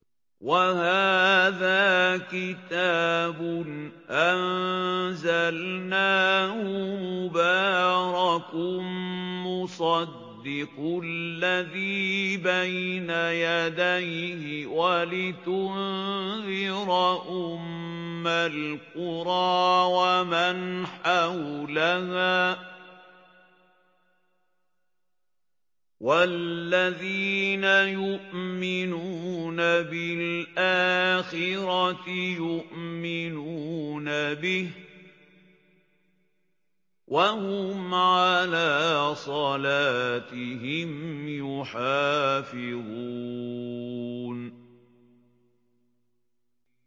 وَهَٰذَا كِتَابٌ أَنزَلْنَاهُ مُبَارَكٌ مُّصَدِّقُ الَّذِي بَيْنَ يَدَيْهِ وَلِتُنذِرَ أُمَّ الْقُرَىٰ وَمَنْ حَوْلَهَا ۚ وَالَّذِينَ يُؤْمِنُونَ بِالْآخِرَةِ يُؤْمِنُونَ بِهِ ۖ وَهُمْ عَلَىٰ صَلَاتِهِمْ يُحَافِظُونَ